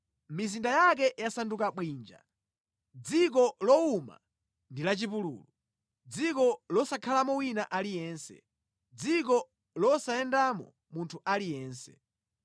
Mizinda yake yasanduka bwinja, dziko lowuma ndi lachipululu, dziko losakhalamo wina aliyense, dziko losayendamo munthu aliyense.